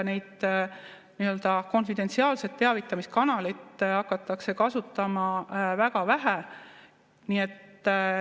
Nii et konfidentsiaalset teavitamiskanalit hakatakse kasutama väga vähe.